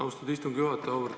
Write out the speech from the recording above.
Austatud istungi juhataja!